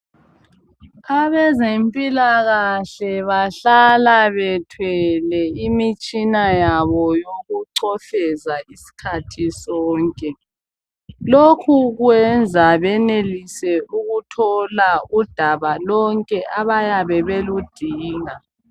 Abezempilakahle bahlala bethwele imitshina yabo yokucofeza isikhathi sonke, lokhu kwenza benelise ukuthola udaba lonke abayabe beludinga.